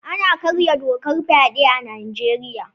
Ana karya dokar fyaɗe a Nijeriya